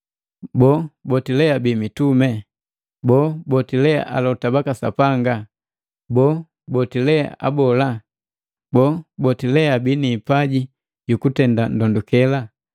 Boo, boti mitumi? Boo, boti alota baka Sapanga? Boo, boti abola? Boo, boti bana hipaji jukutenda ndondukela?